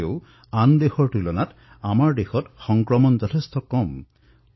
তথাপিও আমাৰ দেশত কৰোনা ইমান বেগেৰে আগবাঢ়িব পৰা নাই যিদৰে আন দেশত বিয়পিছে